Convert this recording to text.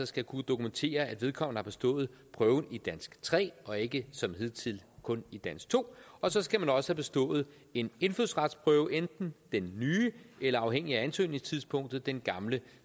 skal kunne dokumentere at vedkommende har bestået prøven i dansk tre og ikke som hidtil kun i dansk to og så skal man også have bestået en indfødsretsprøve enten den nye eller afhængig af ansøgningstidspunktet den gamle